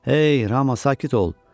Ey Rama, sakit ol!